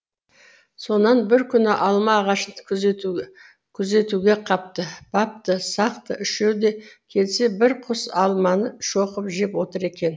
сонан бір күні алма ағашын күзетуге қапты бапты сақты үшеуі де келсе бір құс алманы шоқып жеп отыр екен